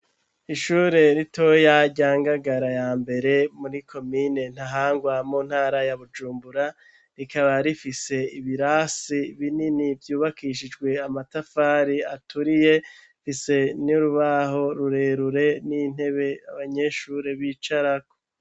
Ishure ritoya, rya Ngagara ya mbere, muri komine Ntahangwa, mu ntara ya Bujumbura; rikaba rifise, ibirasi binini, vyubakishijwe amatafari aturiye, rifise n'urubaho rurerure, n'intebe, abanyeshuri bicarako.